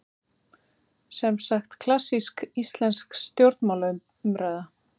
Semsagt klassísk íslensk stjórnmálaumræða.